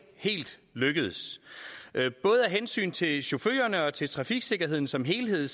helt lykkedes både af hensyn til chaufførerne og til trafiksikkerheden som helhed